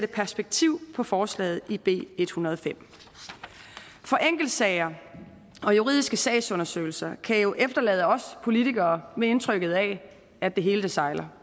perspektivere forslaget i b en hundrede og fem for enkeltsager og juridiske sagsundersøgelser kan jo efterlade os politikere med indtrykket af at det hele sejler